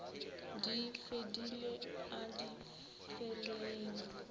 di fedile a di feleng